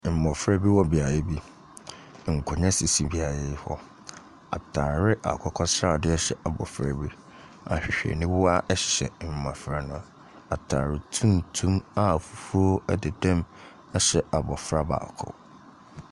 Mmɔfra bi wɔ beaeɛ bi, nkonnwa sisi beaeɛ hɔ, ataare akokɔsradeɛ hyɛ abɔfra bi, ahwehwɛniwa hyɛ mmɔfra no. ataade tuntum a fufuo deda mu hyɛ abofra baako.